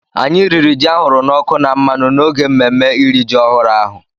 Anyị riri ji ahụrụ n’ọkụ na mmanụ n’oge mmemme iri ji ọhụrụ ahụ.